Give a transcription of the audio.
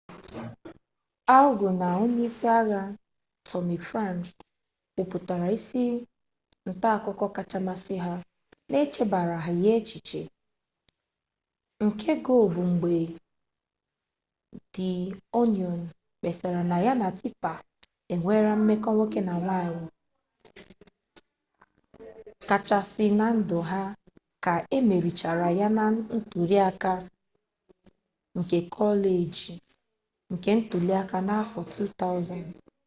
al gọ na onye isi agha tọmi franks kwupụtara isi ntaakụko kacha masị ha n'echebaraghị ya echiche nke gọ bụ mgbe di onịon kpesara na ya na tipa nwere mmekọ nwoke na nwanyị kachasị na ndụ ha ka emerichara ya na ntuliaka kekọleji ntuliaka n'afọ 2000